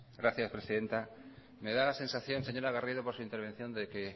gracias presidenta me da la sensación señora garrido por su intervención de que